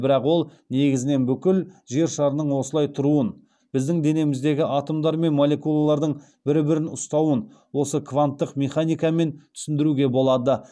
бірақ ол негізінен бүкіл жершарының осылай тұруын біздің денеміздегі атомдар мен молекулалардың бірі бірін ұстауын осы кванттық механикамен түсіндіруге болады